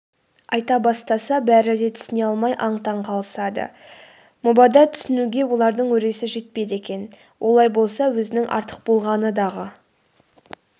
айта бастаса бәрі де түсіне алмай аң-таң қалысады мұбада түсінуге олардың өресі жетпейді екен олай болса өзінің артық болғаны-дағы